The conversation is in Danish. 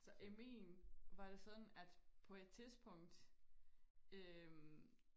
Så i min var det sådan at på et tidspunkt øh